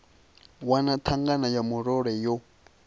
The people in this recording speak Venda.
wana thangana ya murole yo